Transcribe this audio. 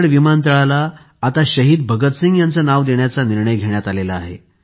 चंदीगड विमानतळाला आता शहीद भगतसिंग यांचे नाव देण्याचा निर्णय घेण्यात आला आहे